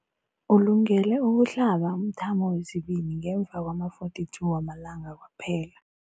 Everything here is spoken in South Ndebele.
Ulungele ukuhlaba umthamo wesibili ngemva kwama-42 wamalanga kwaphela.